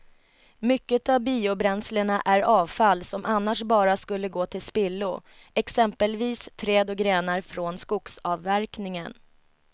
Mycket av biobränslena är avfall som annars bara skulle gå till spillo, exempelvis träd och grenar från skogsavverkningen.